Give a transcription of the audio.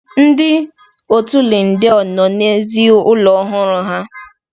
Ndị otu Lyndale nọ n’èzí ụlọ ọhụrụ ha.